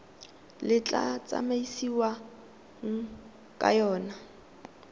le tla tsamaisiwang ka yona